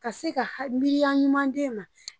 Ka se ka ha miiriya ɲuman d;e ma